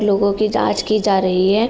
लोगों की जांच की जा रही है।